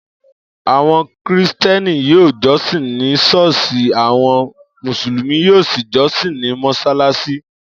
Áwo̩n Krìsté̩nì yóò jó̩sìn ni s̩óò̩s̩ì àwo̩n Mùsùlùmí yóò sì jósìn ní mo̩ś̩alás̩í